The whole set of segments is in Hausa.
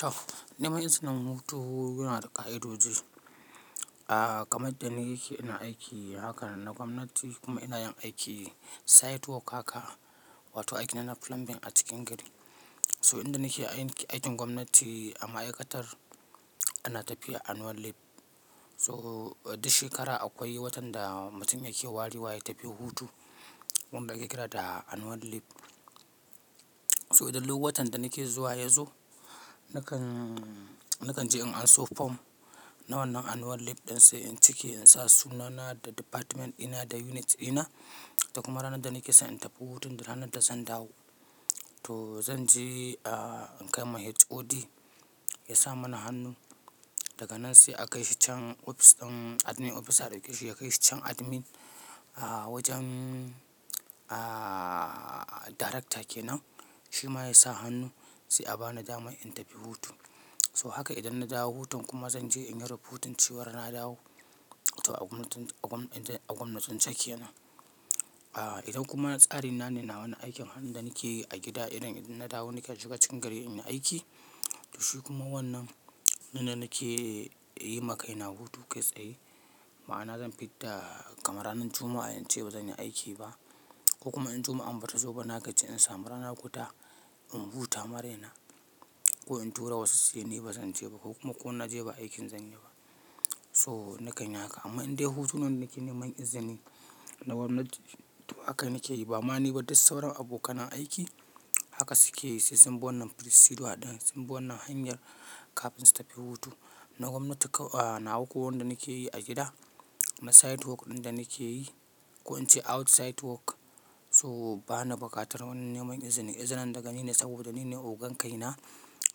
To, neman izinin hutu yana da ƙa'idoji. A'a kamar da ni yake ina aiki haka na gwamnati kuma ina yin aiki side work haka wato aiki da ana plumbing a cikin gari. So in da nake aikin gwamnati a ma'aikatar ana tafiya annual leave. So duk shekara akwai watan da mutum yake ware wa ya tafi hutu wanda ake kira da annual leave. So idan watan da nake zuwa ya zo nakan, nakan je in anso fom na wannan annual leave don sai in cike in sa sunana da department di na da unit di na. Kuma ranar da nake so in tafi hutun da ranar da zan dawo. To zan je a kai ma HOD ya sa mana hannu daga nan sai a kai shi can ofis ɗin, admin ofisa ya kai shi ya kai shi can admin a wajen aaaa darakta kenan. Shi ma ya sa hannu sai a bani damar in tafi hutu. So haka idan na dawo hutun kuma zan je in yi raportin cewa na dawo to a gwamnatin, a gwam, idan a gwamnatin sakiya nan. A idan kuma tsarin na ne na wani aikin har ɗa nake yi a gida idan na dawo nake shiga cikin gari in yi aiki. To shi kuma wannan na da nake yi ma kai na hutu kai tsaye. Ma'ana zan fidda kamar ranan Juma'a in ce ba zan yi aiki ba ko kuma in Juma'an ba ta zo ba na gaji in samu ranar huta in huta ma raina. Ko in tura wasu su yi ni ba zan je ba ko kuma ko na je ba aikin zan yi ba. To na ka yi haka amma idan dai hutun wadda nake neman izini na gwamnati to haka nake yi ba. Ma'ana dai sauran abokan aiki haka suke yi sai sun bi wannan procedure ɗin sun bi wannan hanyar kafin su tafi hutu. Na gwamnati ko a nawa ko wanda nake yi a gida na side work ɗin da nake yi ko in ce outside work so ba na bukatar wani neman izini. Izinin daga ni ne saboda ni ne ogan kai na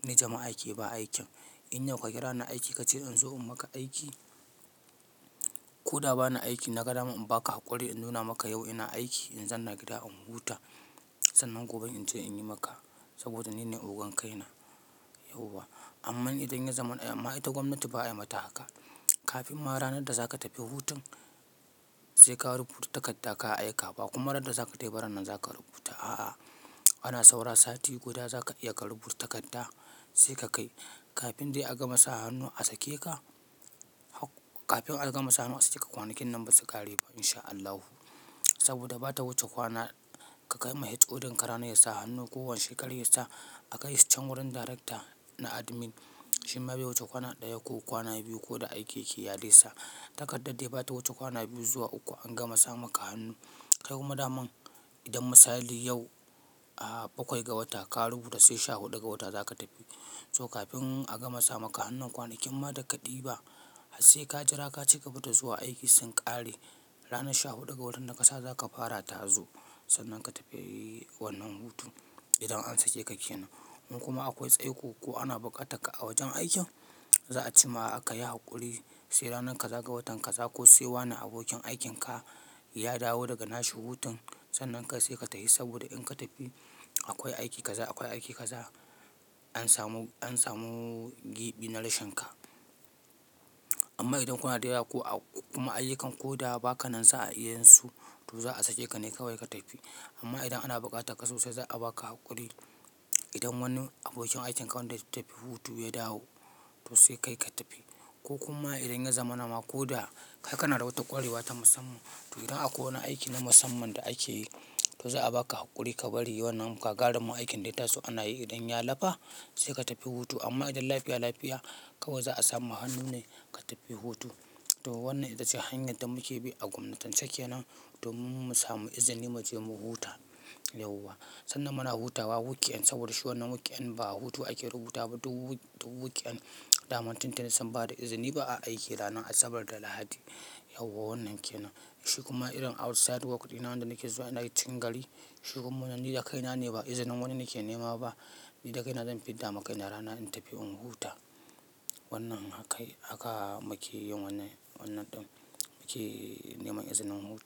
ni jema'a ke ba aikin. In yau ka kira ni aiki ka ce in zo in maka aiki ko da ba na aiki na ga daman in ba ka haƙuri in nuna maka yau ina aiki in zauna a gida in huta. Sannan gobe in je in yi maka saboda ni ne ogan kai na, yauwa. Amma idan ya zama ma'aikatar gwamnati ba a yi mata haka. Kafin ma ranar da za ka tafi hutun sai kawo report takarda ka aika ba kuma ranar da za ka je wurin za ka rubuta. A'a, ana saura sati guda za ka iya ka rubuta takarda sai ka kai kafin dai a gama sa hannu a sake ka. Hak kafin a gama sa hannu a sake ka kwanakin nan ba su ƙare ba in sha Allahu. Saboda bata wuce kwana ka kai ma HOD ka rana ya sa hannu kowane shekara ya sa a kai shi can wurin darakta na admin. Shi ma bai wuce kwana ɗaya ko kwana biyu ko da aiki yake yi a dai sa takardar dai ba ta wuce kwana biyu zuwa uku an gama sa maka hannu. Kai kuma daman idan misali yau a bakwai ga wata ka rubuta sai sha huɗu ga wata za ka tafi. So kafin a gama sa maka hannun kwanakin ma da ka ɗiba sai ka jira ka cigaba da zuwa aiki sun ƙare. Ranar sha huɗu ga watan da ka sa za ka fara ta zo sannan ka tafi wannan hutun idan an sake ka kenan. In kuma akwai tsaiko ko ana bukatar ka a wajen aikin za a ce ma ka yi haƙuri sai ranar kaza ga watan kaza ko sai wani abokin aikin ka ya dawo daga nashi hutun sannan kai sai ka tafi saboda in ka tafi akwai aiki kaza akwai aiki kaza an samu, an samu gibi na rashin ka. Amma idan kuna da yawa ko kuma ayyukan ko da ba ka nan sa'a iyansu to za'a sake ka ne kawai ka tafi. Amma idan ana bukatar ka sosai za a ba ka haƙuri. Idan wani abokin aikin ka wanda ya tafi hutu ya dawo to sai kai ka tafi. Ko kuma idan ya zamana ma ko da kai kana da wata ƙwarewa ta musamman, to idan akwai wani aiki na musamman da ake yi, to za a ba ka haƙuri ka bari wannan gagarumin aikin da ya taso ana yi idan ya lafa sai ka tafi hutu. Amma idan lafiya lafiya kawai za a sa ma hannu ne ka tafi hutu. To wannan ita ce hanyar da muke bi a gwamnatice kenan domin mu samu izini mu je mu huta, yauwa. Sannan muna hutawa weekend saboda shi wannan weekend ba hutu ake rubuta ba duk, duk weekend damar tuntuni sun bada izini ba a aiki ranar Asabar da Lahadi, yauwa wannan kenan. Shi kuma irin outside work ɗi na wanda nake zuwa ina cikin gari shi kuma wannan ni da kaina ne ba izinin wani nake nema ba. Ni da kaina zan fidda ma kai na rana in tafi in huta. Wannan haka, haka muke yin wannan, wannan ɗin muke neman izinin hutu.